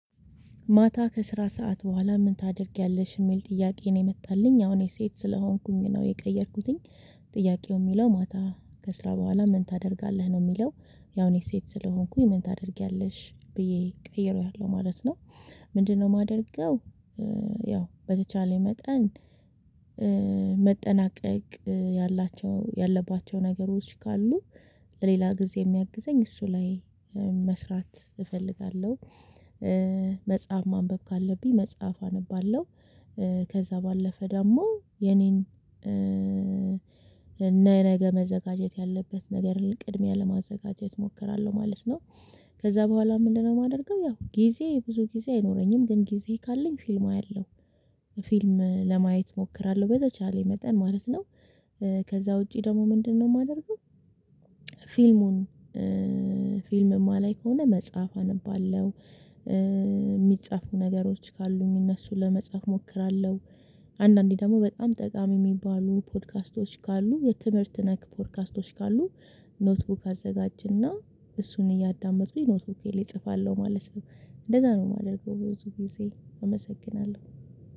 ማታ ከስራ ሰዓት በኋላ ምን ታደርጊያለሽ የሚል ጥያቄ ነው የመጣልኝ አሁን እኔ ሴት ስለሆንኩኝ ነው የቀየርኩትኝ ጥያቄው የሚለው ማታ ከስራ በኋላ ምን ታደርጋለህ ነው የሚለው? ያው እኔ ሴት ስለሆንኩኝ ምን ታደርጊያለሽ ብዬ ቀይሬያለሁ ማለት ነው። ምንድነው የማደርገው? ያው በተቻለ መጠን መጠናቀቅ ያላቸው ያለባቸው ነገሮች ካሉ ለሌላ ጊዜ የሚያግዘኝ እሱ ላይ መስራት እፈልጋለሁ። መጽሐፍ ማንበብ ካለብኝ መጽሐፍ አነባለሁ። ከዛ ባለፈ ደግሞ የኔን የነገ መዘጋጀት ያለበት ነገር ቅድሚያ ለማዘጋጀት እሞክራለሁ ማለት ነው። ከዛ በኋላ ምንድነው? የማደርገው ያው ጊዜ ብዙ ጊዜ አይኖረኝም ግን ጊዜ ካለኝ ፊልም አየሁ። ፊልም ለማየት እሞክራለሁ በተቻለኝ መጠን ማለት ነው። ከዛ ውጪ ደግሞ ምንድነው? የማደርገው ፊልሙን ፊልም ማላይ ከሆነ መጽሐፍ አነባለሁ። የሚጻፉ ነገሮች ካሉኝ እነሱ ለመጻፍ እሞክራለሁ። አንዳንዴ ደግሞ በጣም ጠቃሚ የሚባሉ ፖድካስቶች ካሉ የትምህርት ነክ ፖድካስቶች ካሉ ኖትቡክ አዘጋጅና እሱን እያዳመጡ የኖትቡኬን እጽፋለሁ ማለት ነው። እንደዛ ነው የማደርገው ብዙ ጊዜ አመሰግናለሁ